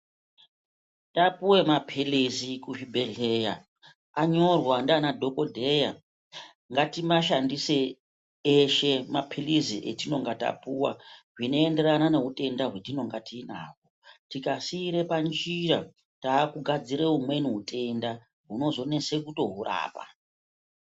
Tapuwe mapilizi kuzvibhedhleya anyorwa ndiana dhokodheya ngatimashandise eshe mapilizi etinenga tapuwa zvinenderana neutenda hwatinenga tinahwo tikasiire panjira takugadzire umweni utenda hunozonese kutohurapa.